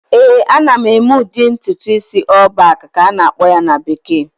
ee, ana m eme udi ntutu isi "all back" ka a esi-akpọ ya na bekee